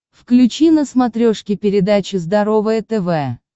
включи на смотрешке передачу здоровое тв